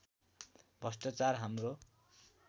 भ्रष्ट्राचार हाम्रो